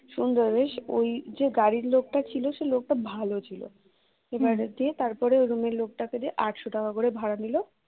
সুন্দর বেশ ওই যে গাড়ির লোকটা ছিল সেই লোকটা ভালো ছিল এবারে দিয়ে তারপরে room র লোকটা কে দিয়ে আটশ টাকা করে ভাড়া নিল।